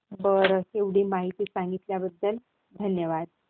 बरं, एवढी माहिती सांगितल्या बद्दल धन्यवाद.